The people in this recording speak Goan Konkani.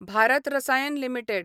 भारत रसायन लिमिटेड